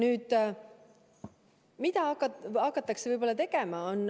Mida siis aga hakatakse tegema?